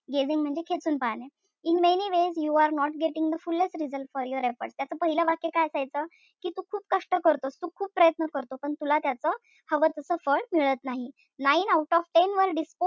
Gazing म्हणजे खेचून पाहणे. In many ways you are not getting the foolest results for your efforts त्याच काय असायचं? कि तू खूप कष्ट करतो, तू खूप प्रयत्न करतो. पण तुला त्याच हवं तस फळ मिळत नाही. Nine out of ten were disposed,